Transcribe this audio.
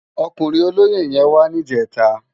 Òkúrin ólóyé yèn wà nijètá